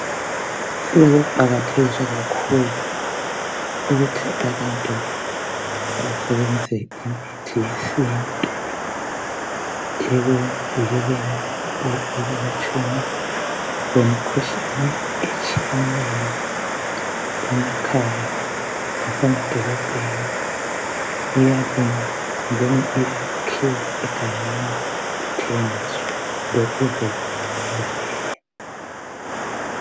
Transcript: Sekuqakathekiswa kakhulu ukuthi abantu basebenzise imithi yesintu ekuvikeleni kumbe ekwelatshweni kwemikhuhlane etshiyeneyo emakhaya lasemadolobheni. Iyalinywa kumbe ikhiwe egangeni ithengiswe.